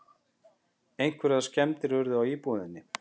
Einhverjar skemmdir urðu á íbúðinni